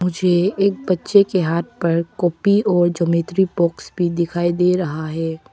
मुझे एक बच्चे के हाथ पर कॉपी और ज्योमेट्री बॉक्स भी दिखाई दे रहा है।